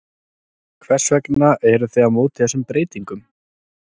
Hvers vegna eruð þið á móti þessum breytingum?